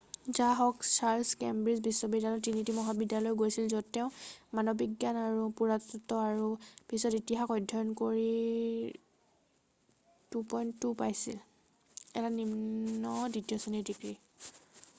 যাহওক Charles Cambridge বিশ্ববিদ্যালয়ৰ Trinity মহাবিদ্যালয়লৈ গৈছিল য'ত তেওঁ মানৱবিজ্ঞান আৰু পুৰাতত্ব আৰু পিছত ইতিহাস অধ্যয়ন কৰি 2:2 এটা নিম্ন দ্বিতীয় শ্ৰেণীৰ ডিগ্ৰী পাইছিল।